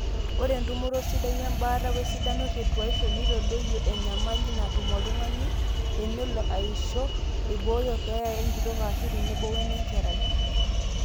ore entumoto sidai embaata oesidano te tuaishu neitadoyio enyamali natum oltung'ani enelo aisho eibooyo keeya enkitok aashu tenebo wenenkerai